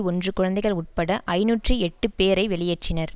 ஒன்று குழந்தைகள் உட்பட ஐநூற்று எட்டு பேரை வெளியேற்றினர்